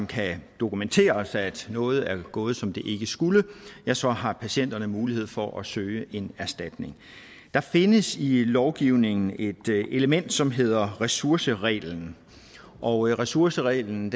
kan dokumenteres at noget ikke er gået som det skulle ja så har patienterne mulighed for at søge en erstatning der findes i lovgivningen et element som hedder ressourcereglen og ressourcereglen